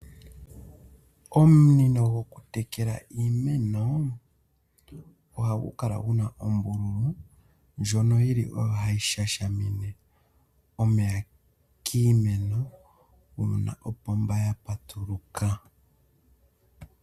Omunino gokutekela iimeno ohagu kala gu na uumbululu mbono wu li owo hawu shashamine omeya kiimeno uuna opomba ya patuluka.